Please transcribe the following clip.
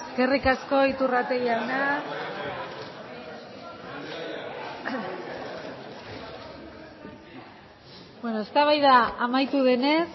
eskerrik asko iturrate jauna eztabaida amaitu denez